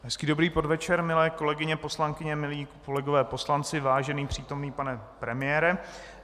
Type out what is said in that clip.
Hezký dobrý podvečer, milé kolegyně poslankyně, milí kolegové poslanci, vážený přítomný pane premiére.